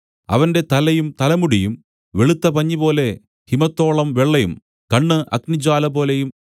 അവന്റെ തലയും തലമുടിയും വെളുത്ത പഞ്ഞിപോലെ ഹിമത്തോളം വെള്ളയും കണ്ണ് അഗ്നിജ്വാലപോലെയും